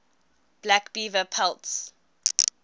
black beaver pelts